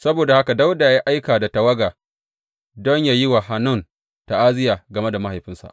Saboda haka Dawuda ya aika da tawaga don yă yi wa Hanun ta’aziyya game da mahaifinsa.